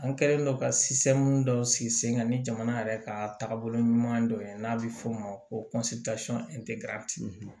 An kɛlen don ka dɔw sigi sen kan ni jamana yɛrɛ ka taabolo ɲuman dɔ ye n'a bɛ fɔ o ma ko